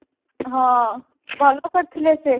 ହଁ ଭଲ କରିଥିଲେ ସେ